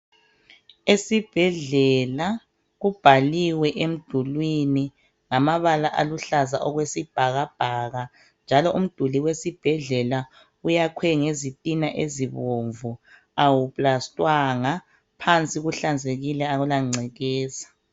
Esibhedlela kubhaliwe emdulini ngamabala aluhlaza okwesibhakaka njalo umduli wesibhedlela uyakhiwe ngezitina ezibomvu awu plastwanga njalo phansi kuhlanzekile akula ngcekeza